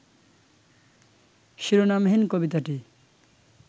শিরোনামহীন কবিতাটি